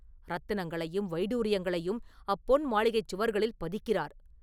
ரத்தினங்களையும் வைடூரியங்களையும் அப்பொன் மாளிகைச் சுவர்களில் பதிக்கிறார்.